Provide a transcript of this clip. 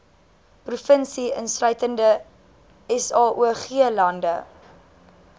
provinsie insluitende saoglande